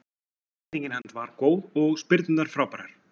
Einbeitingin hans var góð og spyrnurnar frábærar.